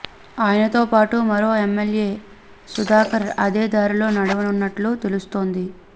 ఆయనతో పాటు మరో ఎమ్మెల్యే సుధాకర్ అదే దారిలో నడవనున్నట్లు తెలుస్తోంది